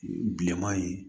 Bilenman in